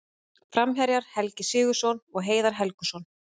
Framherjar: Helgi Sigurðsson og Heiðar Helguson.